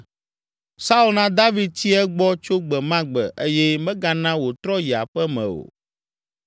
Saul na David tsi egbɔ tso gbe ma gbe eye megana wòtrɔ yi aƒe me o.